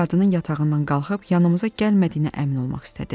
Sanki qadının yatağından qalxıb yanımıza gəlmədiyinə əmin olmaq istədi.